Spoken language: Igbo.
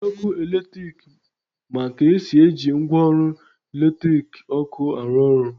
Ndi ọkụ eletrik ma ka esi eji ngwaọrụ latiriki ọkụ arụ orụ